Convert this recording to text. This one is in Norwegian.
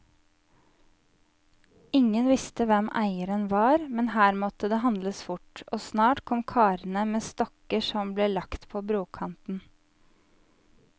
Ingen visste hvem eieren var, men her måtte det handles fort, og snart kom karene med stokker som ble lagt på brokanten.